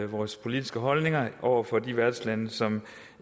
vores politiske holdninger over for de værtslande som